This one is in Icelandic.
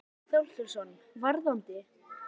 Grétar Már Þorkelsson: Varðandi?